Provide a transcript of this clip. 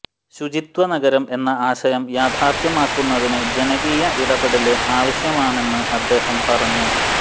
ശുചിത്വനഗരം എന്ന ആശയം യാഥാര്ഥ്യമാക്കുന്നതിന് ജനകീയ ഇടപെടല് ആവശ്യമാണെന്ന് അദ്ദേഹം പറഞ്ഞു